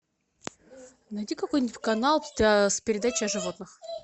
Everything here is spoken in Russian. найди какой нибудь канал с передачей о животных